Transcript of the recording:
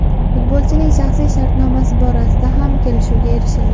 Futbolchining shaxsiy shartnomasi borasida ham kelishuvga erishilgan.